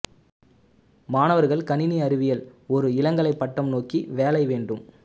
மாணவர்கள் கணினி அறிவியல் ஒரு இளங்கலை பட்டம் நோக்கி வேலை வேண்டும்